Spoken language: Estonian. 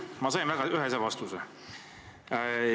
Ma sain väga ühese vastuse.